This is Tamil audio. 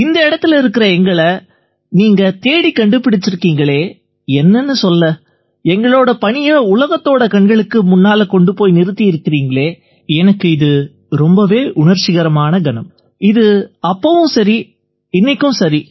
இந்த இடத்தில எங்களை நீங்க தேடிக் கண்டுபிடிச்சிருக்கீங்களே என்னன்னு சொல்ல எங்களோட பணியை உலகத்தோட கண்களுக்கு முன்னால கொண்டு போய் நிறுத்தியிருக்கீங்களே எனக்கு இது ரொம்பவே உணர்ச்சிகரமான கணம் இது அப்பவும் சரி இன்னைக்கும் சரி